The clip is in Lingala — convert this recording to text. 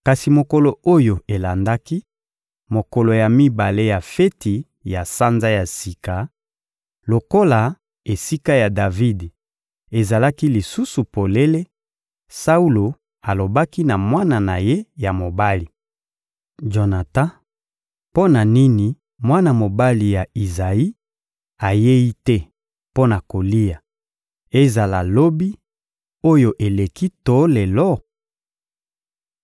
Kasi mokolo oyo elandaki, mokolo ya mibale ya feti ya Sanza ya Sika, lokola esika ya Davidi ezalaki lisusu polele, Saulo alobaki na mwana na ye ya mobali, Jonatan: — Mpo na nini mwana mobali ya Izayi ayei te mpo na kolia, ezala lobi oyo eleki to lelo?